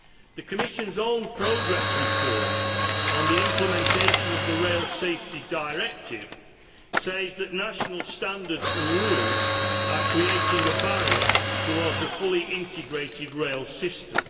The Commission's own progress report on the implementation of the Rail Safety Directive says that national standards and rules are creating a barrier to a fully integrated rail system.